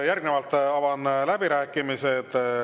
Järgnevalt avan läbirääkimised.